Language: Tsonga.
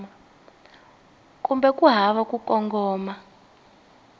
kumbe ku hava ku kongoma